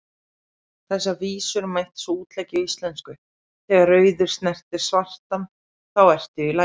Þessar vísur mætti svo útleggja á íslensku: Þegar rauður snertir svartan, þá ertu í lagi,